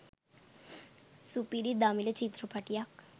සුපිරි දමිළ චිත්‍රපටයක්